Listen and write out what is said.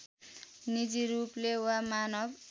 निजी रूपले वा मानव